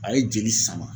A ye jeli sama